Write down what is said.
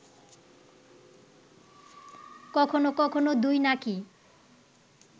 কখনো কখনো দুই নাকই